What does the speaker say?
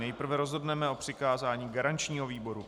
Nejprve rozhodneme o přikázání garančního výboru.